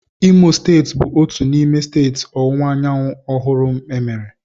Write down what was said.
Imo steeti bụ otu n'ime steeti Ọwụwa Anyanwụ ọhụrụ emere.